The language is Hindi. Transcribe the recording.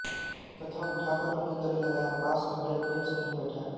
तथा उठाकर उन्हें गले लगाया पास में बड़े प्रेम से उन्हें बैठाया